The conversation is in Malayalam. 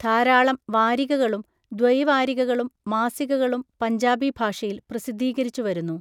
ധാരാളം വാരികകളും ദ്വൈവാരികകളും, മാസികകളും പഞ്ചാബി ഭാഷയിൽ പ്രസിദ്ധീകരിച്ചുവരുന്നു.